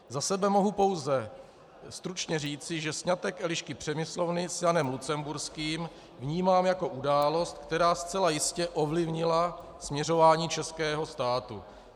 Za sebe mohu pouze stručně říci, že sňatek Elišky Přemyslovny s Janem Lucemburským vnímám jako událost, která zcela jistě ovlivnila směřování českého státu.